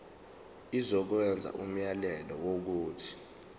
izokwenza umyalelo wokuthi